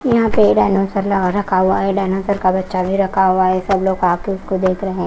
यहां पे डाइनोसर रखा हुआ है डाइनोसर का बच्चा भी रखा हुआ है सब लोग आके इसको देख रहे--